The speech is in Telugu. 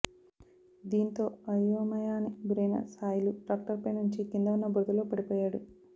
దీంతో అయోమయాని గురైన సాయిలు ట్రాక్టర్పై నుంచి కింద ఉన్న బురదలో పడిపోయాడు